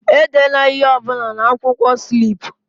Edela ihe ọ bụla na onye na-akwụkwọ slip!